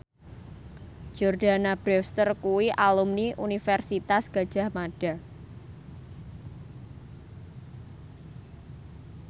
Jordana Brewster kuwi alumni Universitas Gadjah Mada